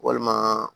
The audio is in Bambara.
Walima